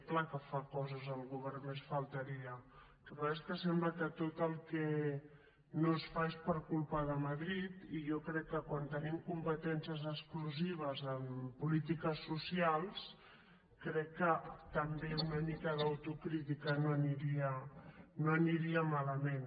clar que fa coses el govern només faltaria el que passa és que sembla que tot el que no es fa és per culpa de madrid i jo crec que quan tenim competències exclusives en polítiques socials també una mica d’autocrítica no aniria malament